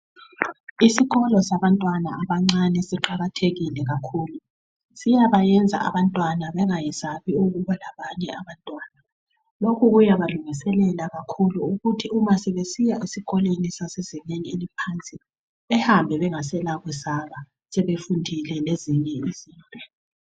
Isikolo sabantwana abancane siqakathekile kakhulu siyabayenza abantwana bengasabi ukuba labanye abantwana, lokhu kuyabalungiselela kakhulu ukuthi ma sebesiya esikolweni sezingeni eliphansi behambe bengena kwesaba, sebefundile lezinye izinto.